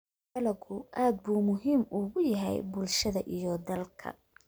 Dalaggu aad buu muhiim ugu yahay bulshada iyo dalka.